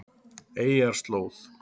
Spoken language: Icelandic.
Eyjarslóð